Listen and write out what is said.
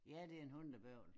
Ja det en hundebøvl